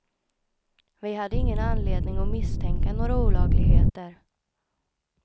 Vi hade ingen anledning att misstänka några olagligheter.